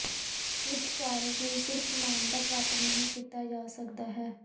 ਕੁਝ ਕਾਰਜ ਨੂੰ ਸਿਰਫ਼ ਮਾਨਤਾ ਪ੍ਰਾਪਤ ਨਹੀ ਕੀਤਾ ਜਾ ਸਕਦਾ ਹੈ